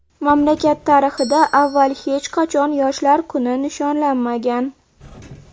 Mamlakat tarixida avval hech qachon yoshlar kuni nishonlanmagan.